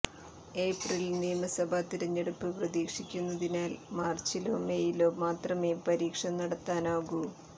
ഏപ്രിലിൽ നിയമസഭാ തിരഞ്ഞെടുപ്പ് പ്രതീക്ഷിക്കുന്നതിനാൽ മാർച്ചിലോ മേയിലോ മാത്രമേ പരീക്ഷ നടത്താനാകൂ